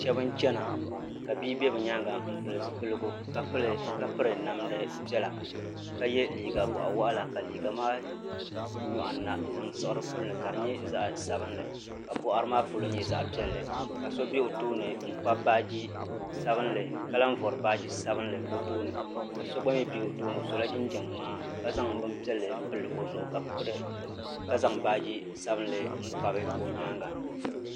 Shɛba n chɛna ka bia bɛ bi yɛanga n pili zupiligu ka piri namda piɛlla ka ye liiga bɔɣi wɔɣila ka liiga maa nyɔɣu ni na zaŋ siɣi di puli ni ka di nyɛ zaɣi sabinli ka bɔɣiri maa polo nyɛ zaɣi piɛlli ka so bɛ o tooni n kpabi baaji sabinli ka lahi vori baaji sabinli o tooni ka so gba mi bɛ o tooni o sola jinjam mŋaa ka zaŋ bini piɛlli n pili o zuɣu ka zaŋ baaji sabinli n kpabi o yɛanga.